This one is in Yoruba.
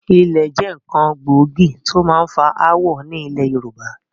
Ilẹ̀ jẹ́ nkán gbòógì tí ó máa ń fa ááwọ̀ ni ilẹ̀ Yorùbá